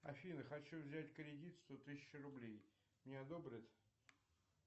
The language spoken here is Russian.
афина хочу взять кредит сто тысяч рублей мне одобрят